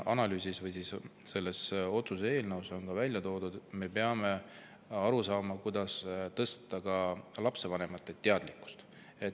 Nagu selles otsuse eelnõus on ka välja toodud, me peame aru saama, kuidas tõsta lapsevanemate teadlikkust.